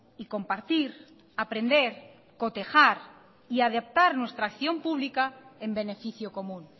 y compartir aprender cotejar y adaptar nuestra acción pública en beneficio común